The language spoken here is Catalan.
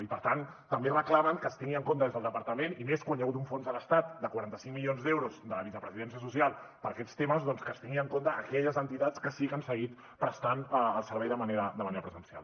i per tant també reclamen que es tingui en compte des del departament i més quan hi ha hagut un fons de l’estat de quaranta cinc milions d’euros de la vicepresidència social per aquests temes doncs que es tinguin en compte aquelles entitats que sí que han seguit prestant el servei de manera pre sencial